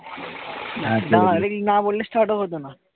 start ও হতো না।